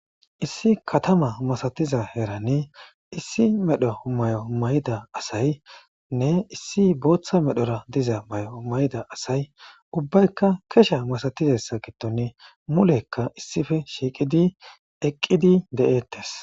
Issi katama masatiza herani issi medho may'o mayda asaynne issi booththa medhora diza may'o mayda asay ubbaykka kesha masatizessa gidton mulekka issife shiiqidi eqqidi de'ettes.